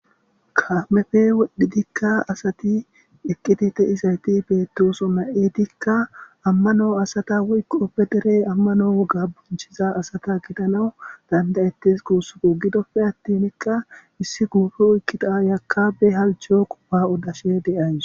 Kaameppeka wodhdhidi asati eqqidi de7izayti beettosona. Eetikka amano asata woykko be dere amano boonchiza asata gidanaw danda7ettees guussuko. Gidoppe attinka issi guupe oykkida aayiya ba halcho odashe de7awus.